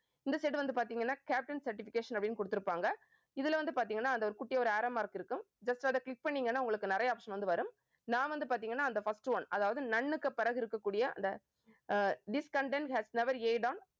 இந்த side வந்து பார்த்தீங்கன்னா caption certification அப்படின்னு கொடுத்திருப்பாங்க. இதுல வந்து பார்த்தீங்கன்னா அந்த ஒரு குட்டியா ஒரு arrow mark இருக்கும் just அதை click பண்ணீங்கன்னா உங்களுக்கு நிறைய option வந்து வரும். நான் வந்து பார்த்தீங்கன்னா அந்த first one அதாவது none க்கு பிறகு இருக்கக் கூடிய, அந்த ah this content has never aid on